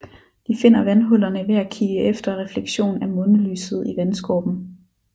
De finder vandhullerne ved at kigge efter refleksion af månelyset i vandskorpen